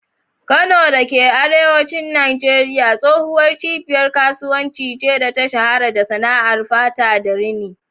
Kano da ke arewacin Najeriya tsohuwar cibiyar kasuwanci ce da ta shahara da sana'ar fata da rini.